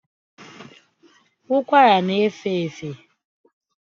ụkwara na efefe